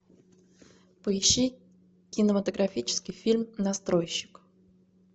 поищи кинематографический фильм настройщик